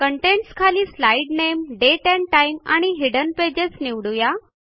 contents खाली slide name date and time आणि hidden pages हे निवडूया